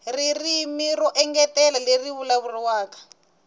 ririmi ro engetela leri vulavuriwaka